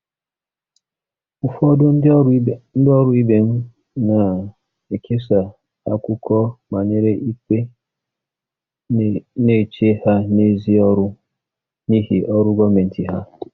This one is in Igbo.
Ụfọdụ ndị ọrụ ibe m na-ekesa akụkọ banyere ikpe na-eche ha n'èzí ọrụ n'ihi ọrụ gọọmentị ha.